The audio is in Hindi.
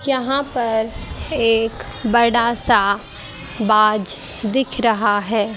यहां पर एक बड़ा सा बाज दिख रहा है।